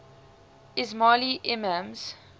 ismaili imams